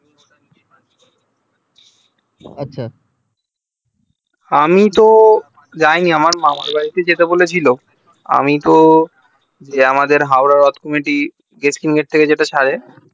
আচ্ছা আমি তো যায়নি আমার মামার বাড়িতে যেতে বলেছিল আমি তো আমাদের হাওড়ার রথ committee থেকে যে টা ছারে